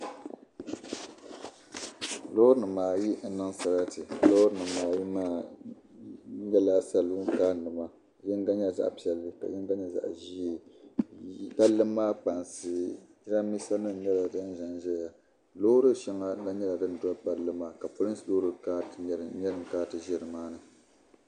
Loori nima ayi n niŋ sarati loori nima ayi maa nyɛla salun kaa nima yinga nyɛla zaɣapiɛlli ka yinga nyɛ zaɣaʒee palli maa kpansi jirambisa nima nyɛla din zanzaya loori sheŋɔ na nyɛla din doli palli maa ka polinsi loori nyɛ din kana ti ʒɛ nimaani.